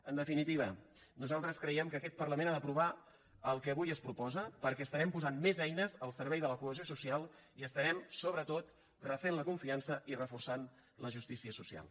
en definitiva nosaltres creiem que aquest parlament ha d’aprovar el que avui es proposa perquè estarem posant més eines al servei de la cohesió social i estarem sobretot refent la confiança i reforçant la justícia social